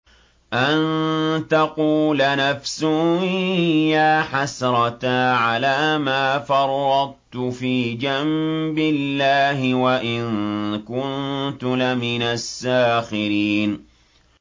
أَن تَقُولَ نَفْسٌ يَا حَسْرَتَا عَلَىٰ مَا فَرَّطتُ فِي جَنبِ اللَّهِ وَإِن كُنتُ لَمِنَ السَّاخِرِينَ